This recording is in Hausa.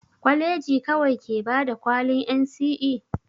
Kwaleji kawai ke bada kwalin NCE?